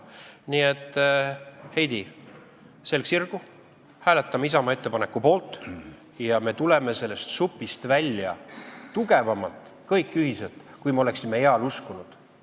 Nii et, Heidy, selg sirgu, hääletame Isamaa ettepaneku poolt ja me tuleme sellest supist kõik ühiselt välja tugevamalt, kui me oleksime eal uskunud.